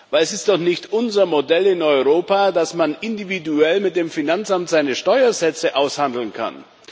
Denn es ist doch nicht unser Modell in Europa, dass man individuell mit dem Finanzamt seine Steuersätze aushandeln kann.